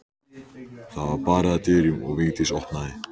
Það var barið að dyrum og Vigdís opnaði.